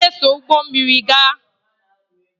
M ga-eso ụgbọ mmiri gaa